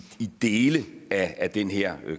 dele af den her